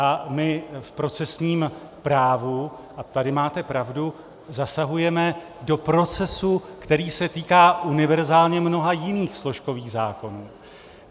A my v procesním právu, a tady máte pravdu, zasahujeme do procesu, který se týká univerzálně mnoha jiných složkových zákonů.